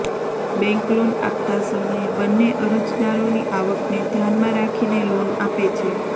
bank loan આપતા સમયે બંને અરજદારોની આવકને ધ્યાનમાં રાખીને લોન આપે છે